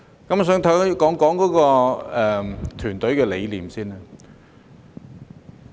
我想首先談談團隊的理念。